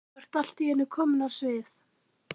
Þú ert allt í einu komin á svið?